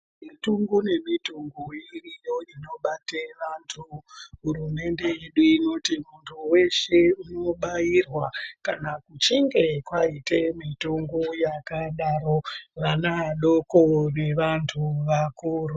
Mitombo nemitombo iriyo inobate vantu hurumende yedu inoti muntu weshe unobairwa kana achinge kwaite mitongo yakadaro vana vadoko nevantu vakuru.